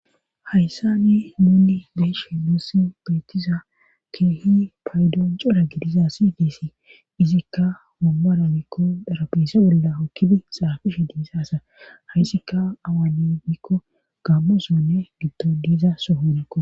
Hayssani nuni beeshe luussi beetiza keehi paydo cora gidiza sidisi izikka mummora mikko darabese bolla okkibi xaafish diizaasa hayssika awane miikko gaammosonne giddo diiza sohonikko.